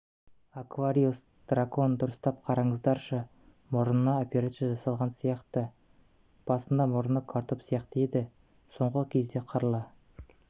аквариус дракон дұрыстап қараңыздаршы мұрнына операция жасалган сияқты басында мұрны картоп сияқты еді соңғы кезде қырлы